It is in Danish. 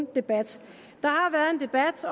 debat